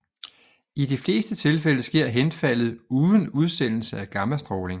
I de fleste tilfælde sker henfaldet uden udsendelse af gammastråling